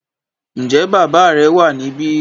Ǹjẹ́ bàbá rẹ wà níbí